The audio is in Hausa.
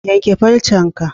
Yanka farcen ka